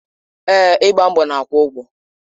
Èè, ịgba mbọ na-akwụ ụgwọ.